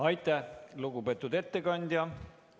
Aitäh, lugupeetud ettekandja!